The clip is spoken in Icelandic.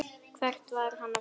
Hvert er hann að fara?